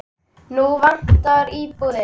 Núna vantar íbúðir.